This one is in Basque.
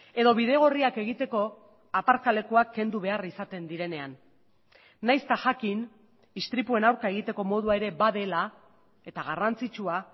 edo bidegorriak egiteko aparkalekuak kendu behar izaten direnean nahiz eta jakin istripuen aurka egiteko modua ere badela eta garrantzitsua